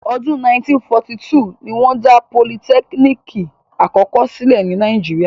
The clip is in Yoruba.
Ọdún 1942 ni wọ́n dá politẹ́kínìkì àkọ́kọ́ sílẹ̀ ní Nàíjíríà.